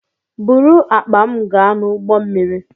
Buru akpa m gaa n'ụgbọ mmiri!